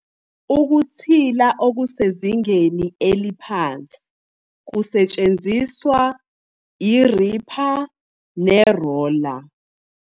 Ukuthila okusezingeni eliphansi kusetshenziswa i-ripper ne-roller.